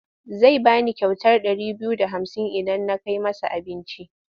Zai ba ni kyautar ɗari biyu da hamsin idan na kai masa abinci.